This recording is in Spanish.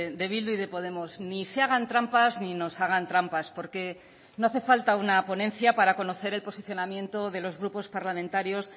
de bildu y de podemos ni se hagan trampas ni nos hagan trampas porque no hace falta una ponencia para conocer el posicionamiento de los grupos parlamentarios